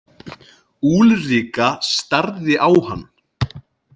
Úlrika starði á hann.